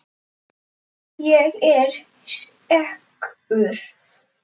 Ég er sekur.